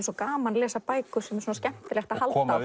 svo gaman að lesa bækur sem er svona skemmtilegt að halda á